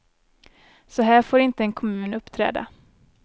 Så här får inte en kommun uppträda.